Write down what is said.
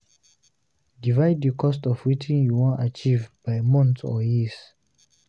Divide the cost of wetin you won achieve by months or years